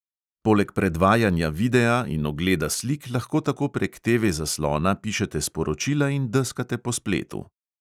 Poleg predvajanja videa in ogleda slik lahko tako prek TV zaslona pišete sporočila in deskate po spletu.